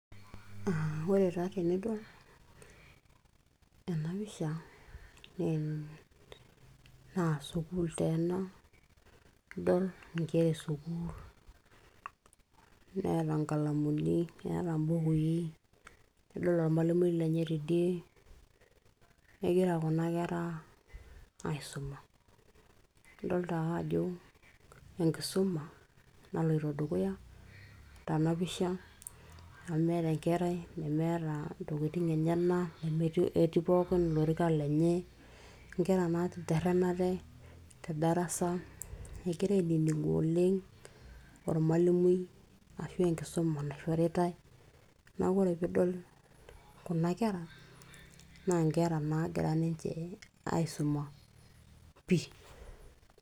aa ore taa tenidol ena pisha naa ene, sukuul taa ena idol inkera e sukuul neeta inkalamuni eeta imbukui nidol ormalimui lenye tidie kegira kuna kera aisuma idolta ake ajo enkisuma naloito dukuya tena pisha amu meeta enkerai nemeeta intokitin enyena nemetii, etii pookin ilorikan lenye inkera naateterrenate te darasa egira ainining'u oleng ormalimui ashu enkisuma naishoritay naaku ore piidol kuna kera naa inkera naagira ninche aisuma pii.